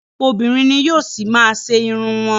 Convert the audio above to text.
Ọ̀pọ̀lọpọ̀ obìnrin ni yóò ṣì má a ṣe irun wọn.